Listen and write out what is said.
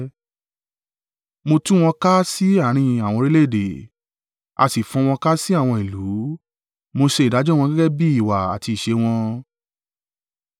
Mo tú wọn ká sí àárín àwọn orílẹ̀-èdè, a sì fọ́n wọn ká sí àwọn ìlú; mo ṣe ìdájọ́ wọn gẹ́gẹ́ bí ìwà àti ìṣe wọn.